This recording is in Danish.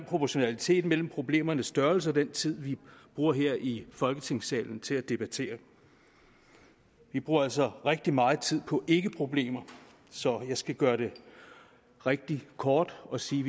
proportionalitet mellem problemernes størrelse og den tid vi bruger her i folketingssalen til at debattere dem vi bruger altså rigtig meget tid på ikkeproblemer så jeg skal gøre det rigtig kort og sige